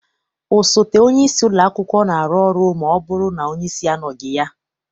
Osote onyeisi ụlọakwụkwọ na-arụ ọrụ ma ọbụrụ na onyeisi anọghị ya.